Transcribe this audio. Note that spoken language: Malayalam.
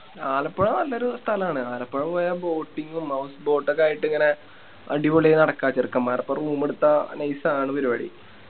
ആലപ്പുഴ നല്ലൊരു സ്ഥലാണ് ആലപ്പുഴ പോയ Boating ഉം House boat ഒക്കെ ആയിട്ടിങ്ങനെ അടിപൊളി നടക്ക ചെറുക്കൻമ്മാരോപ്പരം ഒരു Room എടുത്ത Nice ആണ് പരിപാടി